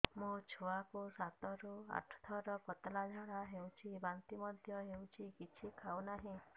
ମୋ ଛୁଆ କୁ ସାତ ରୁ ଆଠ ଥର ପତଳା ଝାଡା ହେଉଛି ବାନ୍ତି ମଧ୍ୟ୍ୟ ହେଉଛି କିଛି ଖାଉ ନାହିଁ